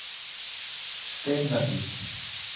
Steinahlíð